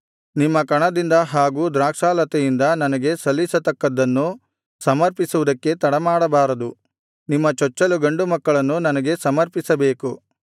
ನಿಮ್ಮ ಕಣದಿಂದ ಹಾಗೂ ದ್ರಾಕ್ಷಾಲತೆಯಿಂದ ನನಗೆ ಸಲ್ಲಿಸತಕ್ಕದ್ದನ್ನು ಸಮರ್ಪಿಸುವುದಕ್ಕೆ ತಡಮಾಡಬಾರದು ನಿಮ್ಮ ಚೊಚ್ಚಲು ಗಂಡು ಮಕ್ಕಳನ್ನು ನನಗೆ ಸಮರ್ಪಿಸಬೇಕು